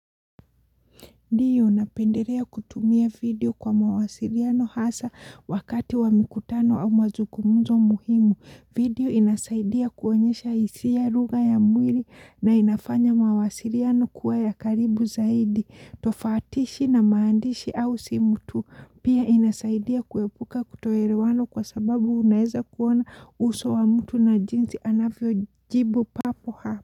Ndiyo napenderea kutumia video kwa mawasiriano hasa wakati wa mikutano au mazungumuzo muhimu. Video inasaidia kuonyesha isia ruga ya mwiri na inafanya mawasiriano kuwa ya karibu zaidi. Tofatishi na maandishi au simutu. Pia inasaidia kuepuka kutoerewano kwa sababu unaeza kuona uso wa mtu na jinzi anafio jibu papo hapo.